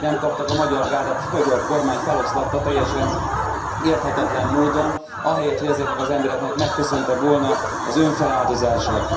Semmit nem kaptak, a Magyar Gárdát a magyar kormány feloszlatta teljesen érthetetlen módon, ahelyett hogy ezeknek az embereknek megköszönte volna az önfeláldozását.